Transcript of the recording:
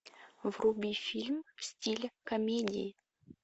вруби фильм в стиле комедии